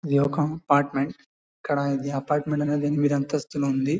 ఇదిఒక apartment ఇక్కడ ఇది apartment అనేది ఎనిమిది అంతస్తులు ఉంది.